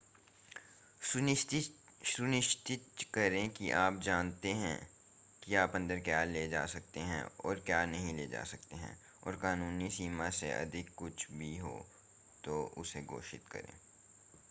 सुनिश्चित करें कि आप जानते हैं कि आप अन्दर क्या ला सकते हैं और क्या नहीं ला सकते हैं और कानूनी सीमा से अधिक कुछ भी हो तो उसे घोषित करें